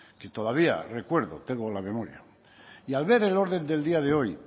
que todavía recuerdo tengo en la memoria y al ver el orden del día de hoy